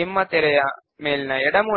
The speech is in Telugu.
ను క్రియేట్ చేసాము